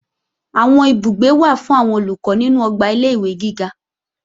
Àwọn ibùgbé wà fún àwọn Olùkọ́ nínú ọgbà ilé-ìwé giga